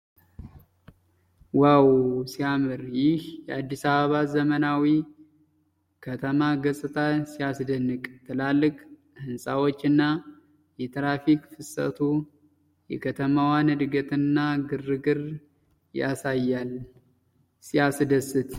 ዋው ! ሲያምር ! ይህ የአዲስ አበባ ዘመናዊ ከተማ ገጽታ ሲያስደንቅ! ትላልቅ ህንጻዎችና የትራፊክ ፍሰቱ የከተማዋን እድገትና ግርግር ያሳያሉ። ሲያስደስት!